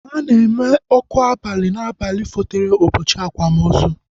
Ana eme ọkụ abali na abalị fotere ụbọchị akwamozu